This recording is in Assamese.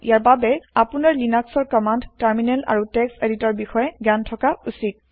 ইয়াৰ বাবে আপোনাৰ লিনাক্সৰ কমান্দ টাৰমিনেল আৰু টেক্স এডিটৰ সমুহৰ বিষয়ে গ্যান থকা উচিত